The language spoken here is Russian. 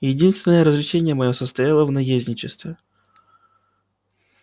единственное развлечение моё состояло в наездничестве